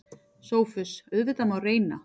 SOPHUS: Auðvitað má reyna.